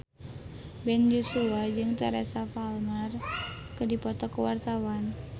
Ben Joshua jeung Teresa Palmer keur dipoto ku wartawan